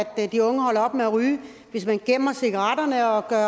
at de unge holder op med at ryge hvis man gemmer cigaretterne og gør